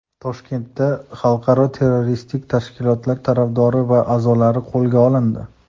Toshkentda xalqaro terroristik tashkilotlar tarafdori va a’zolari qo‘lga olindi.